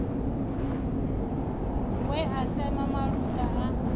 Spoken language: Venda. we a sema maluta a